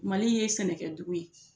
Mali ye sɛnɛkɛdugu ye